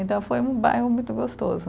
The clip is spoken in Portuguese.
Então, foi um bairro muito gostoso.